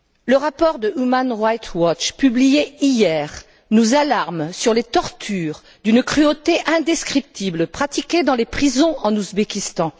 Le rapport de Human rights watch publié hier nous alarme sur les tortures, d'une cruauté indescriptible, pratiquées dans les prisons en Ouzbékistan.